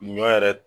Ɲɔ yɛrɛ